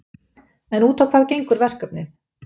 En út á hvað gengur verkefnið?